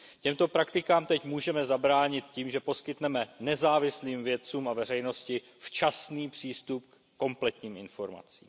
Těmto praktikám teď můžeme zabránit tím, že poskytneme nezávislým vědcům a veřejnosti včasný přístup ke kompletním informacím.